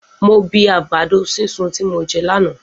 Mo bi àgbàdo sisun ti mo jẹ lànà.